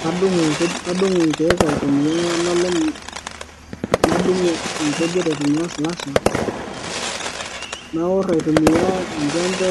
Kadung' kadung' inkeek aitumiya olalem nadung' inkujit aitumiya esilasha naorr aitumiya enjempe